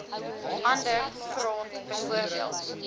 ander grond bv